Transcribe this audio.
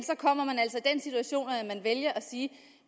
vælger at sige